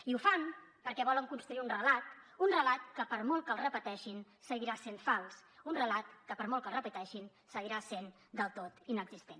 i ho fan perquè volen construir un relat un relat que per molt que el repeteixin seguirà sent fals un relat que per molt que el repeteixin seguirà sent del tot inexistent